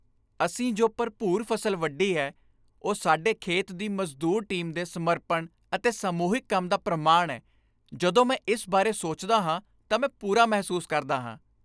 ਅਸੀਂ ਜੋ ਭਰਪੂਰ ਫ਼ਸਲ ਵੱਢੀ ਹੈ, ਉਹ ਸਾਡੇ ਖੇਤ ਦੀ ਮਜ਼ਦੂਰ ਟੀਮ ਦੇ ਸਮਰਪਣ ਅਤੇ ਸਮੂਹਿਕ ਕੰਮ ਦਾ ਪ੍ਰਮਾਣ ਹੈ। ਜਦੋਂ ਮੈਂ ਇਸ ਬਾਰੇ ਸੋਚਦਾ ਹਾਂ ਤਾਂ ਮੈਂ ਪੂਰਾ ਮਹਿਸੂਸ ਕਰਦਾ ਹਾਂ।